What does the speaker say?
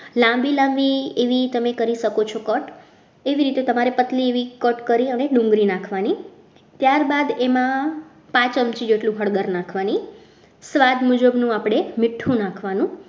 લાંબી લાંબી એવી તમે કરી શકો છો cut કેવી રીતે પતલી તમારે એવી કટ કરીને ડુંગળી નાખવાની ત્યારબાદ તેમાં પાંચ ચમચી જેટલી હળદર નાખવાની સ્વાદ મુજબનું આપણે મીઠું નાખવાનું.